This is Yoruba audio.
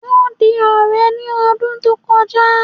Wọ́n di ọ̀rẹ́ ní ọdún tó kọjá